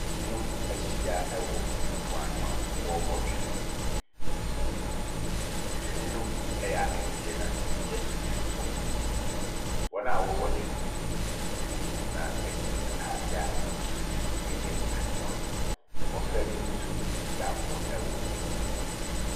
Binom ahyia wɔ mpoano a wɔrebɔ twene, twene ne bi yɛ akɛseɛ na bi yɛ nketewa. Wɔn a twene ne bi ɛmu mmiɛnsa hyɛ ataadeɛ a n’ahosuo no yɛ adekorɔ. Na mmɔfra bi nso ɛredi agorɔ wɔ po n’ano.